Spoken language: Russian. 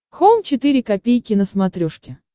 хоум четыре ка на смотрешке